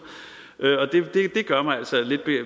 det gør mig altså lidt